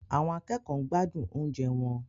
Àwọn akẹ́kọ̀ọ́ ń gbádùn oúnjẹ wọn.